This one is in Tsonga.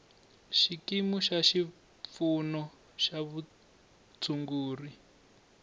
xikimu xa xipfuno xa vutshunguri